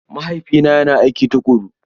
Mahaifina yana aiki tuƙuru.